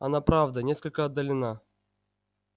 она правда несколько отдалена